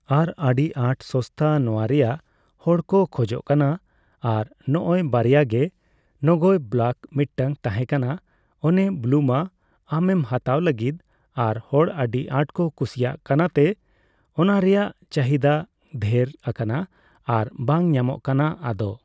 ᱟᱨ ᱟᱹᱰᱤ ᱟᱴ ᱥᱚᱥᱛᱟ ᱱᱚᱣᱟᱨᱮᱭᱟᱜ ᱦᱚᱲᱠᱚ ᱠᱷᱚᱡᱚᱜ ᱠᱟᱱᱟ ᱟᱨ ᱱᱚᱜᱚᱭ ᱵᱟᱨᱭᱟᱜᱮ ᱱᱚᱜᱚᱭ ᱵᱞᱟᱠ ᱢᱤᱫᱴᱟᱝ ᱛᱟᱦᱮᱸ ᱠᱟᱱᱟ ᱚᱱᱮ ᱵᱞᱩᱢᱟ ᱟᱢᱮᱢ ᱦᱟᱛᱟᱣ ᱞᱟᱹᱜᱤᱫ ᱟᱨ ᱦᱚᱲ ᱟᱹᱰᱤ ᱟᱴᱠᱚ ᱠᱩᱥᱤᱭᱟᱜ ᱠᱟᱱᱟ ᱛᱮ ᱚᱱᱟᱨᱮᱭᱟᱜ ᱪᱟᱦᱤᱫᱟ ᱫᱷᱮᱨ ᱟᱠᱟᱱᱟ ᱟᱨ ᱵᱟᱝ ᱧᱟᱢᱚᱜ ᱠᱟᱱᱟ ᱟᱫᱚ